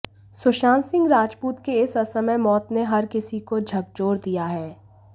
सुशांत सिंह राजपूत के इस असमय मौत ने हर किसी को झकझोर दिया है